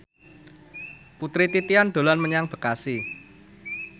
Putri Titian dolan menyang Bekasi